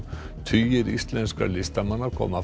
tugir íslenskra listamanna koma